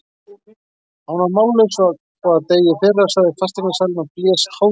Hann var nú mállaus og að deyja í fyrra, sagði fasteignasalinn og blés háðslega.